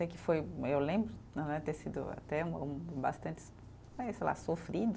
Eu lembro né, ter sido até um, bastante sei lá, sofrido,